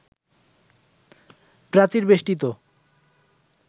প্রাচীর বেষ্টিত